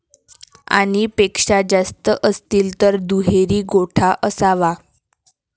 आणि पेक्षा जास्त असतील तर दुहेरी गोठा असावा